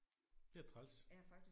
Det er træls